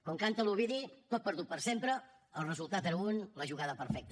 com canta l’ovidi tot perdut per sempre el resultat era un la jugada perfecta